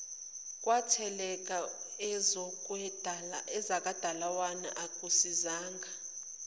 kwatheleka ezakwadalawane akusisizanga